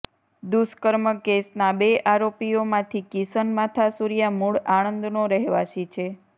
દુષ્કર્મ કેસના બે આરોપીઓમાંથી કિશન માથાસુરીયા મૂળ આણંદનો રહેવાસી છે